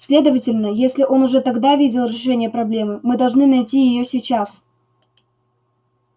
следовательно если он уже тогда видел решение проблемы мы должны найти её сейчас